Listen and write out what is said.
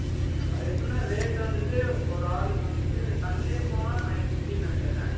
அது எப்படின்னா, rate வந்துட்டு, ஒரு ஆளுக்கு வந்து Sunday போனா, 950 ன்னு நினைக்கிறேன்